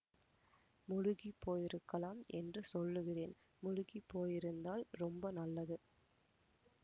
முழுகி போயிருக்கலாம் என்று சொல்லுகிறேன் முழுகி போயிருந்தால் ரொம்ப நல்லது